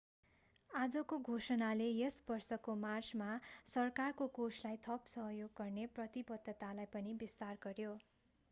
आजको घोषणाले यस वर्षको मार्चमा सरकारको कोषलाई थप सहयोग गर्ने प्रतिबद्धतालाई पनि विस्तार गर्‍यो।